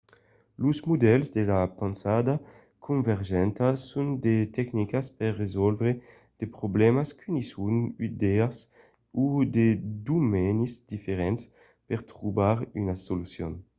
los modèls de pensada convergenta son de tecnicas per resòlvre de problèmas qu'unisson d'idèas o de domenis diferents per trobar una solucion